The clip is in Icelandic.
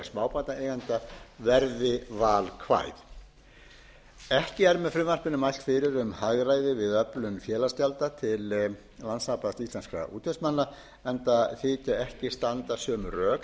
smábátaeigenda verði valkvæð ekki er með frumvarpinu mælt fyrir um hagræði við öflun félagsgjalda til landssambands smábátaeigenda enda þykja ekki standa sömu rök